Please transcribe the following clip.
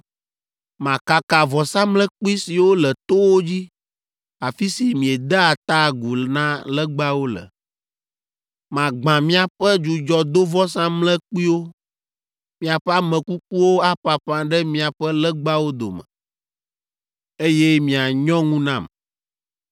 makaka vɔsamlekpui siwo le towo dzi, afi si miedea ta agu na legbawo le. Magbã miaƒe dzudzɔdovɔsamlekpuiwo, miaƒe ame kukuwo aƒaƒã ɖe miaƒe legbawo dome, eye mianyɔ ŋu nam.